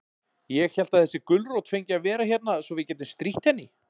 Ég hélt að þessi gulrót fengi að vera hérna svo við gætum strítt henni.